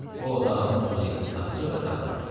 Bu otağın 37 taxça və tağı var.